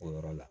O yɔrɔ la